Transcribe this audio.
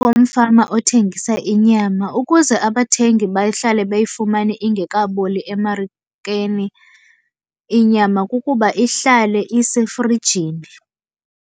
Yomfama othengisa inyama, ukuze abathengi bahlale beyifumane ingekaboli emarikeni inyama kukuba ihlale isefrijini.